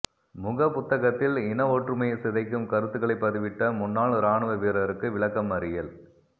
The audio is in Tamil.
முகப்புத்தகத்தில் இனஒற்றுமையை சிதைக்கும் கருத்துக்களை பதிவிட்ட முன்னாள் இராணுவ வீரருக்கு விளக்கமறியல்